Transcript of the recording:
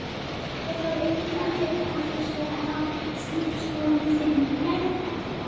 Það þarf enginn að vita af þessu á skrifstofu þinni fyrr en þá.